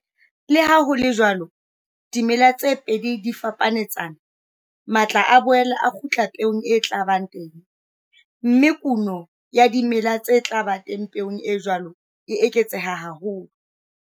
Le ha ho le jwalo, ha dimela tse pedi di fapanetsana, matla a boela a kgutla peong e tla ba teng, mme kuno ya dimela tse tla ba teng peong e jwalo e eketseha haholo.